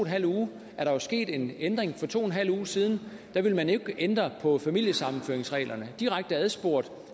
halv uge jo også sket en ændring for to en og halv uge siden ville man jo ikke ændre på familiesammenføringsreglerne direkte adspurgt